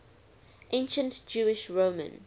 ancient jewish roman